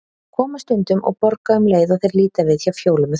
Koma stundum og borga um leið og þeir líta við hjá Fjólu með þvottinn.